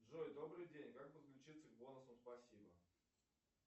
джой добрый день как подключиться к бонусам спасибо